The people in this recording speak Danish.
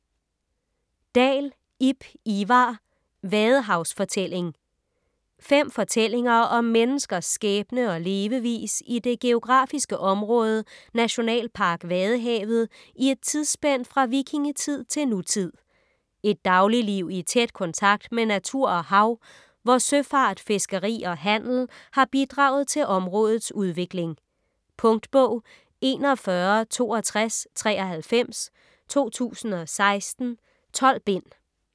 Dahl, Ib Ivar: Vadehavsfortælling Fem fortællinger om menneskers skæbne og levevis i det geografiske område Nationalpark Vadehavet i et tidsspænd fra vikingetid til nutid. Et dagligliv i tæt kontakt med natur og hav, hvor søfart, fiskeri og handel har bidraget til områdets udvikling. Punktbog 416293 2016. 12 bind.